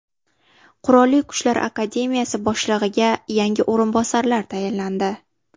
Qurolli Kuchlar akademiyasi boshlig‘iga yangi o‘rinbosarlar tayinlandi.